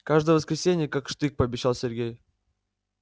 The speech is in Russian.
каждое воскресенье как штык пообещал сергей